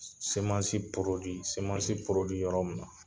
yɔrɔ min na